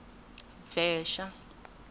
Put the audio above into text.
bvexa